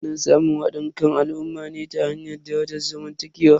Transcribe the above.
Ana samun hadin kan al'ummar ne ta hanyar darajar zamantakewa.